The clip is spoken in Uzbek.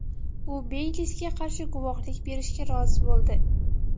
U Beylisga qarshi guvohlik berishga rozi bo‘ldi.